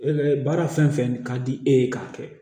baara fɛn fɛn ka di e ye k'a kɛ